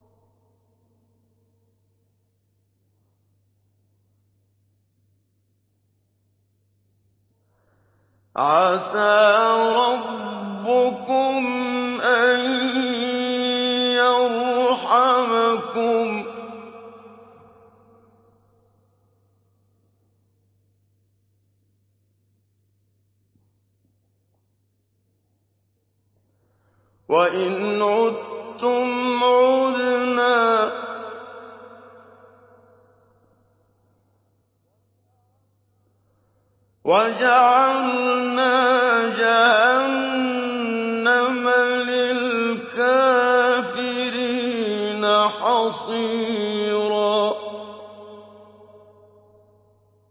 عَسَىٰ رَبُّكُمْ أَن يَرْحَمَكُمْ ۚ وَإِنْ عُدتُّمْ عُدْنَا ۘ وَجَعَلْنَا جَهَنَّمَ لِلْكَافِرِينَ حَصِيرًا